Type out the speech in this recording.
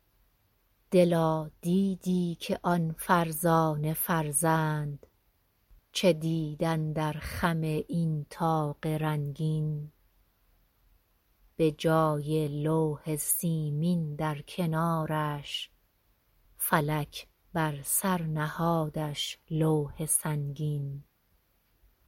دلا دیدی که آن فرزانه فرزند چه دید اندر خم این طاق رنگین به جای لوح سیمین در کنارش فلک بر سر نهادش لوح سنگین